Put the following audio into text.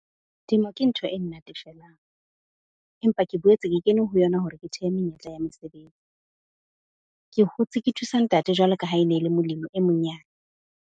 Temo ke ntho e nnatefelang, empa ke boetse ke kene ho yona hore ke thehe menyetla ya mesebetsi. Ke hotse ke thusa ntate jwalo ka ha e ne e le molemi e monyane.